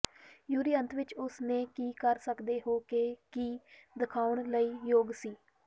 ਯੂਰੀ ਅੰਤ ਵਿੱਚ ਉਸ ਨੇ ਕੀ ਕਰ ਸਕਦੇ ਹੋ ਕਿ ਕੀ ਦਿਖਾਉਣ ਲਈ ਯੋਗ ਸੀ